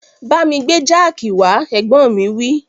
Bámi gbé jáàkì wá, Ẹ̀gbọ́n mi wí